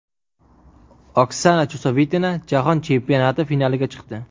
Oksana Chusovitina Jahon chempionati finaliga chiqdi.